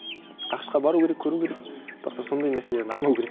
ақш қа бару керек көру керек бірақ та сондай нәрселерін алмау керек